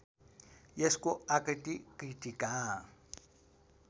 यसको आकृति कृत्तिका